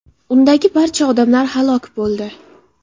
Undagi barcha odamlar halok bo‘ldi.